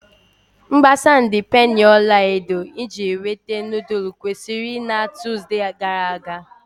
Mgbasa ndi penii ọla edo iji inwete nudulu kwụsịrị na Tuzdee gara aga.